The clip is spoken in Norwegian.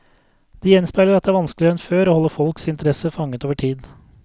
Det gjenspeiler at det er vanskeligere enn før å holde folks interesse fanget over tid.